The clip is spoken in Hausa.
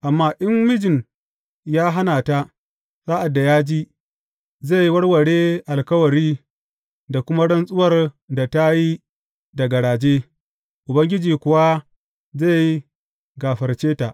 Amma in mijin ya hana ta sa’ad da ya ji, zai warware alkawari da kuma rantsuwar da ta yi da garaje, Ubangiji kuwa zai gafarce ta.